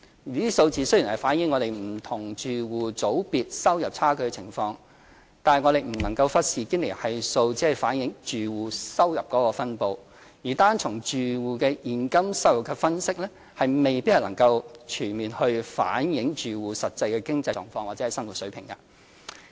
這個數字雖然反映香港不同住戶組別收入差距的情況，但我們不能忽視堅尼系數只反映住戶收入分布，而單從住戶的現金收入分析未必能全面反映住戶實際的經濟狀況或生活水平。